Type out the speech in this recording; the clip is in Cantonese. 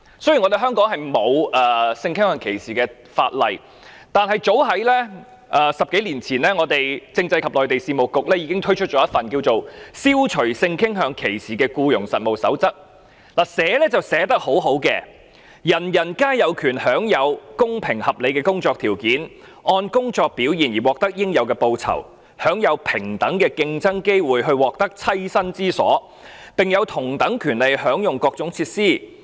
雖然香港沒有關於性傾向歧視的法例，但是早於10多年前，政制及內地事務局已經推出一份《消除性傾向歧視僱傭實務守則》，寫得很好的："人人皆有權享有公平合理的工作條件，按工作表現而獲得應有的報酬，享有平等的競爭機會去獲得棲身之所，並有同等權利享用各種設施。